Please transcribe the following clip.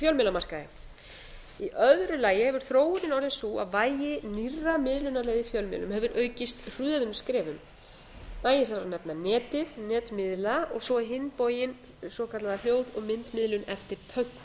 fjölmiðlamarkaði í öðru lagi hefur þróunin orðið sú að vægi nýrra miðlunarleiða í fjölmiðlum hefur aukist hröðum skrefum nægir þar að nefna netið netmiðla og svo á hinn bóginn svokallaða hljóð og myndmiðlun eftir pöntun